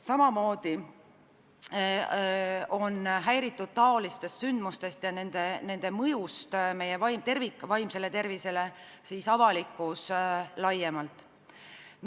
Samamoodi on säärastest sündmustest ja nende mõjust meie vaimsele tervisele häiritud avalikkus laiemalt.